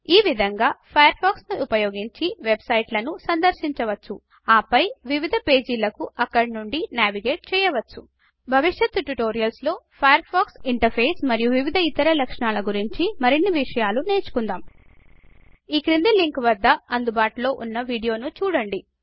ఈ విధంగా Firefox ను ఉపయోగించి వెబ్సైట్లను సందర్శించవచ్చు ఆ పై వివిధ పేజీలకు అక్కడ నుండి నావిగేట్ చెయ్యవచ్చు భవిష్యత్తుట్యుటోరియల్స్ లో ఫయర్ ఫాక్స్ ఇంటర్ఫేస్ మరియు వివిధ ఇతర లక్షణాల గురించి మరిన్ని విషయాలు నేర్చుకుందాం ఈ క్రింది లింకు వద్ద అందుబాటులో ఉన్న వీడియోను చూడండి